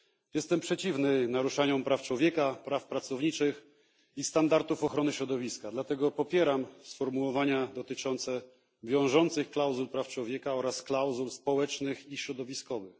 Jestem przeciwny naruszaniu praw człowieka, praw pracowniczych i standardów ochrony środowiska, dlatego popieram sformułowania dotyczące wiążących klauzul praw człowieka oraz klauzul społecznych i środowiskowych.